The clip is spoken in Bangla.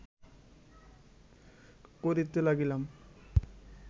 করিতে লাগিল